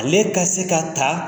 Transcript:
Ale ka se ka ta